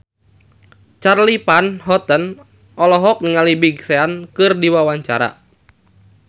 Charly Van Houten olohok ningali Big Sean keur diwawancara